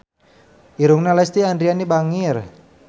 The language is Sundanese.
Irungna Lesti Andryani bangir